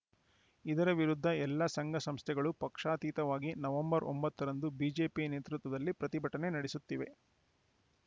ಇದರ ವಿರುದ್ಧ ಎಲ್ಲ ಸಂಘಸಂಸ್ಥೆಗಳು ಪಕ್ಷಾತೀತವಾಗಿ ನವೆಂಬರ್ ಒಂಬತ್ತ ರಂದು ಬಿಜೆಪಿ ನೇತೃತ್ವದಲ್ಲಿ ಪ್ರತಿಭಟನೆ ನಡೆಸುತ್ತಿವೆ